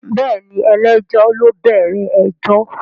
Bẹ́ẹ̀ni ẹlẹ́jọ́ ló bẹ̀rẹ̀ ẹjọ́